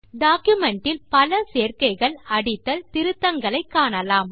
document இல் பல சேர்க்கைகள் அடித்தல் திருத்தங்களை காணலாம்